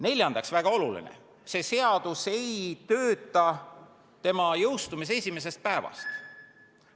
Neljandaks, väga oluline on, et see seadus ei tööta tema jõustumise esimesest päevast.